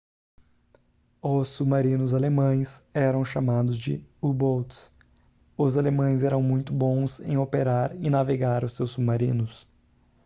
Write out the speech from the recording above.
os submarinos alemães eram chamados de u-boats os alemães eram muito bons em operar e navegar os seus submarinos